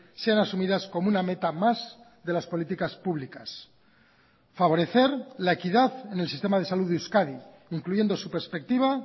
sean asumidas como una meta más de las políticas públicas favorecer la equidad en el sistema de salud de euskadi incluyendo su perspectiva